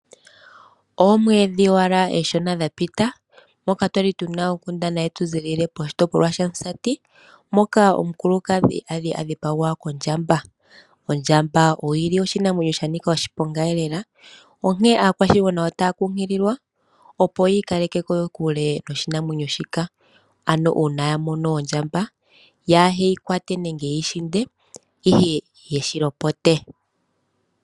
Oomwedhi owala oonshona dhaka pita, moka kwali tuna onkundana yetu zilile kOmusati, moka omukulukadhi ali adhipagwa kondjamba. Ondjamba oyili oshinamwenyo shanika oshiponga lela, onkene aakwashigwana otaya kunkililwa, opo yi ikaleke kokule noshinamwenyo shika. Ano uuna ya mono ondjamba, yaa heyi kwate nenge yeyipiyaganeke, ihe nayeshilopote.